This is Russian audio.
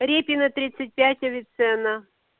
репина тридцать пять авиценна